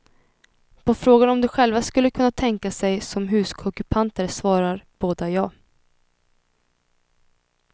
På frågan om de själva skulle kunna tänka sig som husockupanter svarar båda ja.